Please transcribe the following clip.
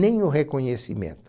Nem o reconhecimento.